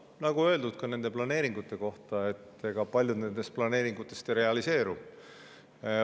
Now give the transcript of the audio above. Nagu on öeldud nende planeeringute kohta, ega paljud nendest ei realiseeru.